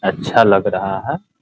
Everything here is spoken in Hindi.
अच्छा लग रहा है ।